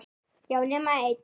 Já, nema ein!